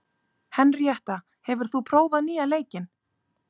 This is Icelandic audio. Henríetta, hefur þú prófað nýja leikinn?